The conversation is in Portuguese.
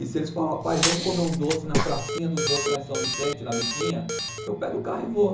E se eles falam, pai, vamos comer um doce na pracinha dos doces lá em São Vicente, na Biquinha, eu pego o carro e vou.